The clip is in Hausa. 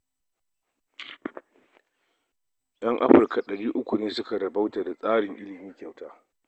Yan Afirka ɗari uku ne suka rabauta da tsarin ilimi kyauta